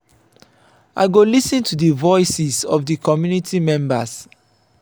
i go lis ten to di voices of di community members.